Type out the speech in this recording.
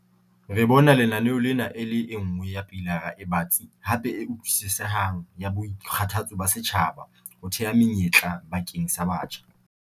"Re bona lenaneo lena e le e nngwe ya pilara e batsi hape e utlwisisehang ya boikgathatso ba setjhaba ho theha menyetla bakeng sa batjha."